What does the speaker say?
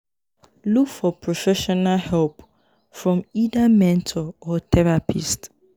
look for professional help from either mentor or therapist